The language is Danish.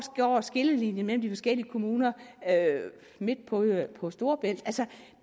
går skillelinjen mellem de forskellige kommuner midt på storebælt altså